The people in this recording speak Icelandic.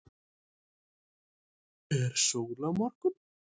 er sól á morgun